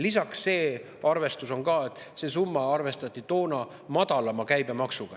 Lisaks see arvestus, et see summa arvestati toona madalama käibemaksuga.